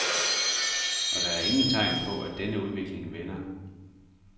Og der er ingen tegn på, at denne udvikling vender.